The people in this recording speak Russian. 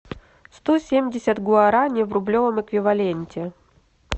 сто семьдесят гуарани в рублевом эквиваленте